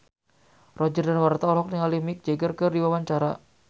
Roger Danuarta olohok ningali Mick Jagger keur diwawancara